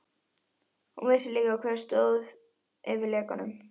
Hún vissi líka, hver stóð fyrir lekanum.